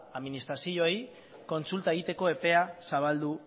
administrazioei kontsulta egiteko epea zabaldu